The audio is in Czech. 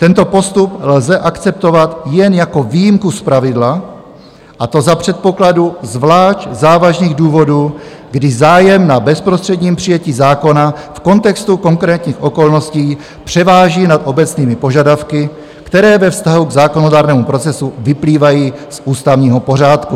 Tento postup lze akceptovat jen jako výjimku z pravidla, a to za předpokladu zvlášť závažných důvodů, kdy zájem na bezprostředním přijetí zákona v kontextu konkrétních okolností převáží nad obecnými požadavky, které ve vztahu k zákonodárnému procesu vyplývají z ústavního pořádku.